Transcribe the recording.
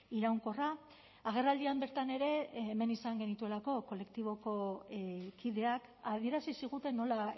iraunkorra agerraldian bertan ere hemen izan genituelako kolektiboko kideak adierazi ziguten nola